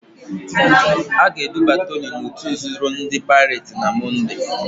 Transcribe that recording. A ga-eduba Toni n'òtù nzuzo ndị Paịret na Mọnde.